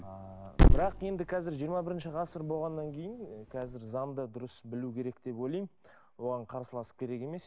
ыыы бірақ енді қазір жиырма бірінші ғасыр болғаннан кейін қазір заңды дұрыс білу керек деп ойлаймын оған қарсыласып керек емес